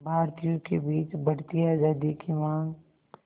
भारतीयों के बीच बढ़ती आज़ादी की मांग